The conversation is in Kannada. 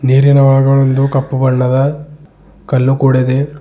ನೀರಿನ ಒಳಗೊಳೊಂದು ಕಪ್ಪು ಬಣ್ಣದ ಕಲ್ಲು ಕೂಡ ಇದೆ.